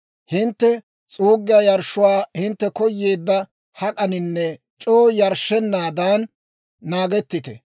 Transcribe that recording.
Hintte s'uuggiyaa yarshshuwaa hintte koyeedda hak'aninne c'oo yarshshenaadan naagettite.